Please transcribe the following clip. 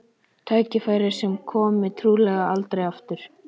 Tækifæri sem komi trúlega aldrei aftur.